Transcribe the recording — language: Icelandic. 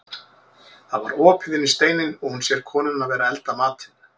Það var opið inn í steininn og hún sér konuna vera að elda matinn.